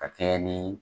Ka kɛɲɛ ni